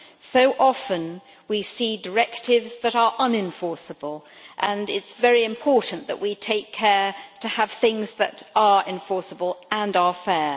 So often we see directives that are unenforceable, so it is very important that we take care to have things that are enforceable and are fair.